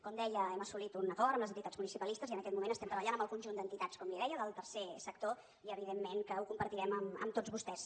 com deia hem assolit un acord amb les entitats municipalistes i en aquest moment estem treballant amb el conjunt d’entitats com li deia del tercer sector i evidentment que ho compartirem amb tots vostès